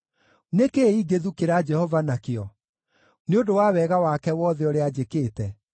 Nĩ kĩĩ ingĩthukĩra Jehova nakĩo nĩ ũndũ wa wega wake wothe ũrĩa anjĩkĩte?